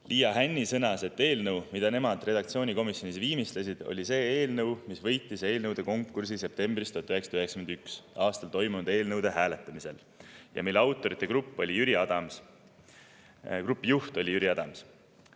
Liia Hänni sõnas, et eelnõu, mida nemad redaktsioonikomisjonis viimistlesid, oli see eelnõu, mis võitis eelnõude konkursi 1991. aasta septembris toimunud hääletamisel ja mille autorite grupi juht oli Jüri Adams.